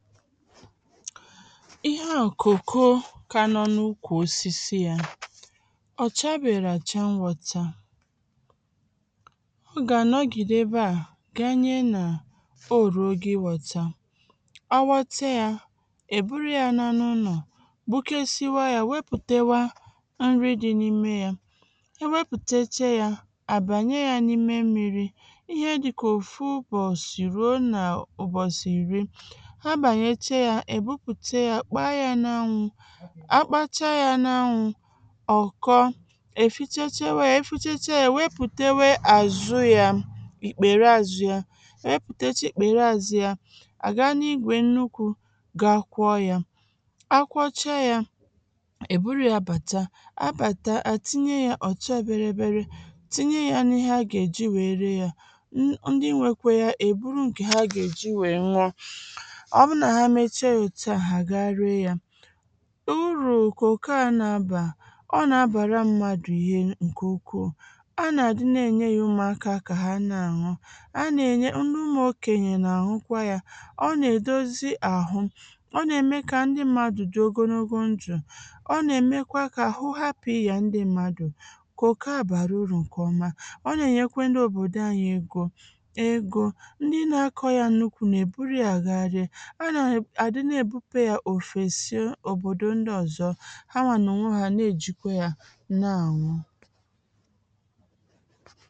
ihe a kòko ka anọ n’ukwù osisi ya ọ̀ chabèrè àchọ mwọtà ọ gà anọ̀gìdè ebe à ganye nà o ruo ogè ịwọ̇tȧ ọ ghọtịa ya èburu ya n’anọ n’ọ̀ gbukesiwa ya wepùtewa nri dị n’ime ya ewepùtechee ya àbànye ya n’ime mmi̇ri ihe dịkà òfu ụbọ̀sị ruo nà ụbọ̀sị ìri èbupùte ya kpaa ya n’anwụ̇ a kpacha ya n’anwụ̇ ọ̀ kọọ èfichechewȧ ya efichechė a èwepùtewe àzụ ya ìkpère azụ ya ewepùteche ìkpère azụ ya àga n’igwè nnukwu̇ gakwọ ya akwọcha ya èburu ya bàta abàta àtinye ya ọ̀chọ biribiri tinye ya n’ihe a gà-èji wère ya ndị nwekwe ya èburu ǹkè ha gà-èji wèe nwụọ uru̇ kòko a nà-abà ọ nà-abàra mmadù ihe ǹkè ukwuù a nà-àdị na-ènye yȧ umu aka kà ha na-àṅọ a nà-ènye ndị umù okènyè nà-àṅụkwa yȧ ọ nà-èdozi àhụ ọ nà-ème kà ndị mmadù dị̀ ogologo njụ̀ ọ nà-èmekwa kà àhụ hapụ̀ ịyà ndị mmadù kòko a bàrà urù ǹkèọma ọ nà-ènyekwa ndị òbòdò anyị egȯ egȯ ndị na-akọ̇ yȧ nnukwu nà èburu yȧ agaara òbòdò ndị ọ̀zọ ha nwà nà ọ nwọha na ejìkwa ya n’anwụ